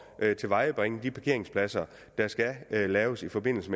at tilvejebringe de parkeringspladser der skal laves i forbindelse